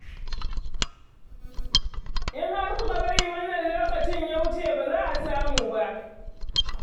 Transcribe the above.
In har kuka bar wannan lokacin ya wuce ba za a samu ba.